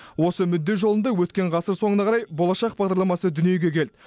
осы мүдде жолында өткен ғасыр соңына қарай болашақ бағдарламасы дүниеге келді